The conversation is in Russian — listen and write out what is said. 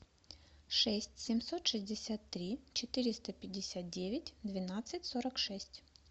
шесть семьсот шестьдесят три четыреста пятьдесят девять двенадцать сорок шесть